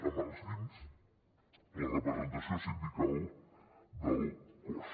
als llimbs la representació sindical del cos